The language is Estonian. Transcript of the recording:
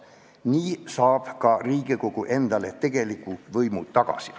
Nii saab Riigikogu endale ka tegeliku võimu tagasi.